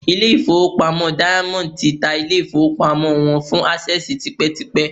ilé-ìfowópamọ́ Diamond ti ta ilé-ìfowópamọ́ wọn fún Access tipẹ́tipẹ́